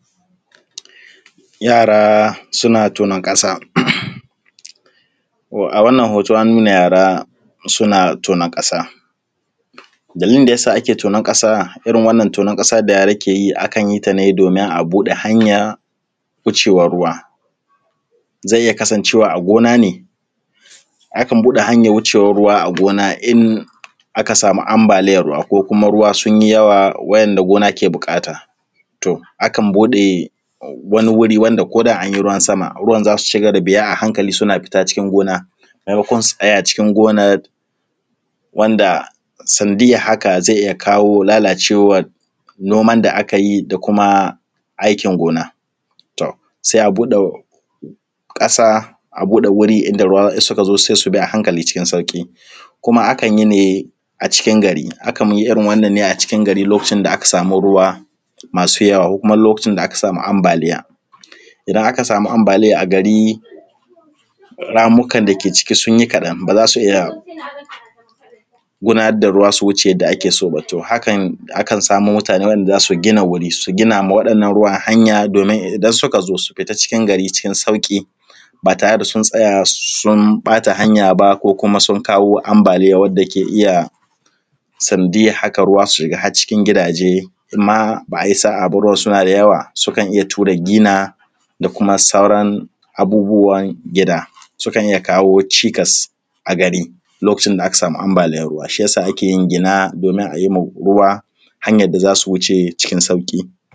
Yara suna tonan ƙasa. A wannan hoton an nuna yara suna tonon ƙasa, dalili da yasa ake tonon ƙasa irin wannan da yara ke yi akan yi ta ne domin a buɗe hanyan wucewan ruwa. Zai iya kasancewa a gona ne, akan buɗe hanyan wucewan ruwa a gona in aka samu ambaliyan ruwa ko kuma ruwa sun yi yawa wa'inda gona ke buƙata. Akan buɗe wani wuri ko da anyi ruwan sama ruwan za su shiga da biya a hankali suna fita cikin gona, maimakon su tsaya cikin gonar wanda sanadiyar haka zai iya kawo lalacewan noman da aka yi da kuma aikin gona. Sai a buɗe ƙasa, a buɗe wuri inda ruwan in suka zo za su bi a hankali cikin sauƙi. Kuma akan yi ne a cikin gari, akan yi irin wannan a cikin gari lokacin da aka samu ruwa masu yawa ko kuma lokacin da aka samu ambaliya. Idan aka samu ambaliya a gari ramukan dake ciki sun yi kaɗan, ba za su iya gudanar da ruwa su wuce yadda ake so ba, to hakan akan samo mutane wa’inda za su gina wuri, su gina ma waɗannan ruwan hanya domin idan suka zo su fita cikin gari cikin sauƙi ba tare da sun tsaya sun ɓata hanya ba, ko kuma sun kawo ambaliya wanda ke iya sanadiyar haka ruwa su shiga har cikin gidaje, inma ba a yi sa a ba in ruwan suna da yawa su kan iya ture gina da kuma sauran abubuwan gida. Sukan iya kawo cikas a gari lokacin da aka samu ambaliyan ruwa. Shi yasa ake yin gina domin a yi wa ruwa hanyan da za su wuce cikin sauƙi.